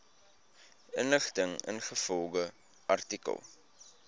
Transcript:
inligting ingevolge artikel